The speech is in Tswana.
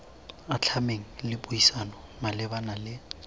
atlhameng le puisano malebana le